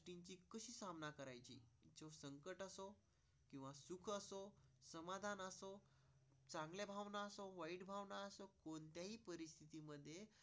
चांगल्या भावना सम वाईट भावना नाही. परिस्थितीमध्ये चांगल्या.